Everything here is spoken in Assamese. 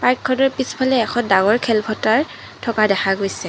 পাৰ্কখনৰ পিছফালে এখন ডাঙৰ খেলপথাৰ থকা দেখা গৈছে।